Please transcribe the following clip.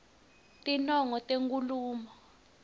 tinongo tenkhulumo